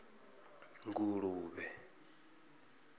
nguluvhe